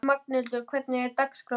Magnhildur, hvernig er dagskráin?